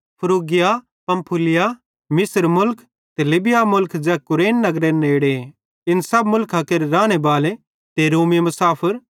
फ्रूगिया Pamphylia मिस्र मुलख ते लीबिया मुलखे ज़ै कुरेन नगरेरे नेड़े इन सब मुलखां केरे रानेबाले ते रोमी मुसाफर